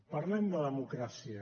parlem de democràcia